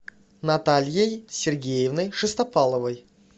натальей сергеевной шестопаловой